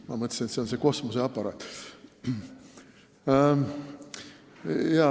Ma mõtlesin, et see on see kosmoseaparaat.